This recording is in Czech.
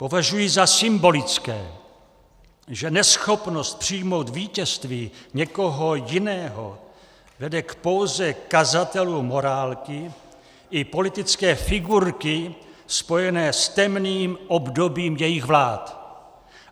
Považuji za symbolické, že neschopnost přijmout vítězství někoho jiného vede k póze kazatelů morálky i politické figurky spojené s temným obdobím jejich vlád.